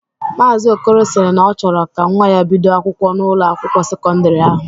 Maazi Okolo sịrị na ọ chọrọ ka nwa ya bido akwụkwọ n'Ụlọ akwụkwọ sekọndrị ahụ.